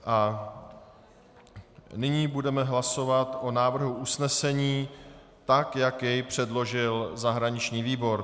A nyní budeme hlasovat o návrhu usnesení tak, jak jej předložil zahraniční výbor.